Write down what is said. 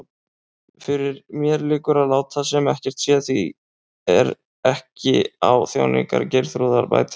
Fyrir mér liggur að láta sem ekkert sé, því ekki er á þjáningar Geirþrúðar bætandi.